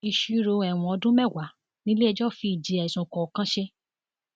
ìṣirò ẹwọn ọdún mẹwàá nílẹẹjọ fi ìjìyà ẹsùn kọọkan ṣe